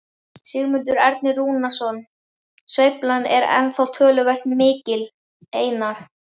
Sigmundur Ernir Rúnarsson: Sveiflan er ennþá töluvert mikil Einar?